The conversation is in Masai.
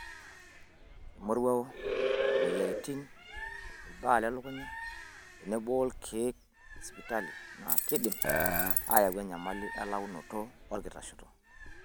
Emoruao, moyiarin, ilbaa lelukunya tenebo olkeek le sipitali naa keidim aayau enyamali elaunoto orkitashei.